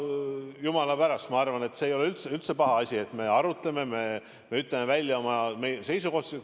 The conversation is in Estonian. Jumala pärast, ma arvan, see ei ole üldse paha asi, et me arutame, me ütleme välja oma seisukohti.